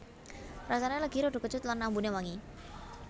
Rasane legi rada kecut lan ambune wangi